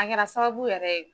A kɛra sababu yɛrɛ ye